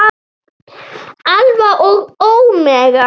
Alfa og ómega.